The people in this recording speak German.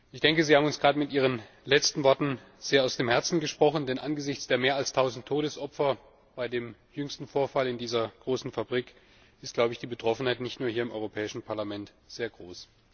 Ich denke, Sie haben uns gerade mit ihren letzten Worten sehr aus dem Herzen gesprochen, denn angesichts der mehr als tausend Todesopfer bei dem jüngsten Vorfall in dieser großen Fabrik ist die Betroffenheit nicht nur hier im Europäischen Parlament sehr groß.